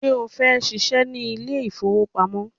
Ṣé o fẹ́ ṣíṣe ní ilé ìfowópamọ́?